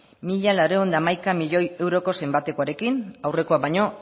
mila laurehun eta hamaika milioi euroko zenbatekoarekin aurrekoa baino